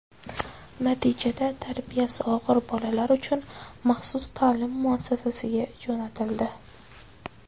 Natijada tarbiyasi og‘ir bolalar uchun maxsus ta’lim muassasasiga jo‘natildi.